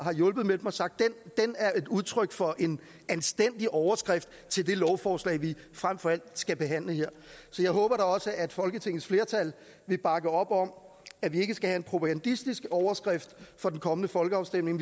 hjulpet har sagt at den er udtryk for en anstændig overskrift til det lovforslag vi frem for alt skal behandle her så jeg håber da også at folketingets flertal vil bakke op om at vi ikke skal have en propagandistisk overskrift for den kommende folkeafstemning